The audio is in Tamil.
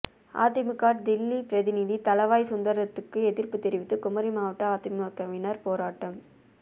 அதிமுக டெல்லி பிரதிநிதி தளவாய் சுந்தரத்துக்கு எதிர்ப்பு தெரிவித்து குமரி மாவட்ட அதிமுகவினர் போராட்டம்